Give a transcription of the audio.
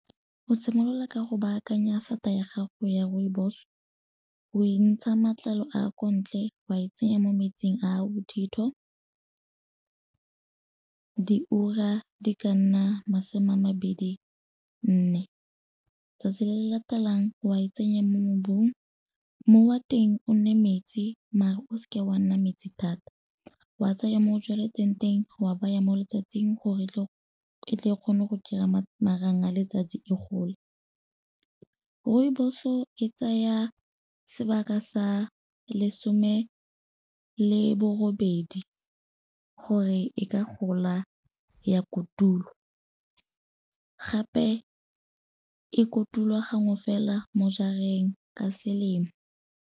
Go simolola ka go baakanya sata ya gago ya rooibos, o e ntsha matlalo a kontle wa e tsenya mo metsing a a bothitho di ura di ka nna masome a mabedi nne. Tsatsi le le latelang wa e tsenya mo mmobung, mmu wa teng o nne metsi mare o seke wa nna metsi thata. Wa tsaya mo o tsweletseng teng wa baya mo letsatsing gore e tle e kgone go kry-a marang a letsatsi e gole. Rooibos-o e tsaya sebaka sa lesome le borobedi gore e ka gola ya kotulwa, gape e kotulwa gangwe fela mo jareng ka selemo.